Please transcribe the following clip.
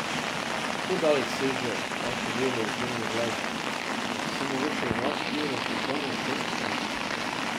Kako daleč seže vaše delo oziroma glasba, se mogoče nanaša tudi na vprašanje avtentičnosti.